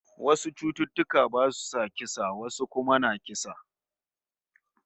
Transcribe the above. Wasu cututtuka basu sa kisa, wasu kuma na kisa